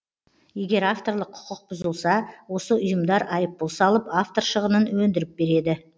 егер авторлық құқық бұзылса осы ұйымдар айыппұл салып автор шығынын өндіріп береді